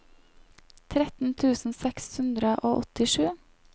tretten tusen seks hundre og åttisju